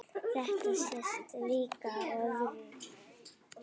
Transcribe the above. Þetta sést líka á öðru.